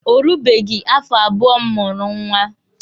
O rubeghi afọ abụọ m mụrụ nwa.